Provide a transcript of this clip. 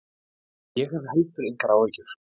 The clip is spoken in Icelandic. Ég hef heldur engar áhyggjur.